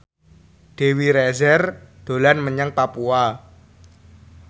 Dewi Rezer dolan menyang Papua